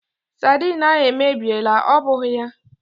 Saidin ahụ èmèbịèlà, ọ bụghị ya?